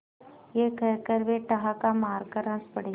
यह कहकर वे ठहाका मारकर हँस पड़े